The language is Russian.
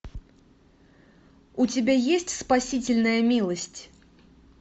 у тебя есть спасительная милость